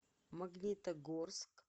магнитогорск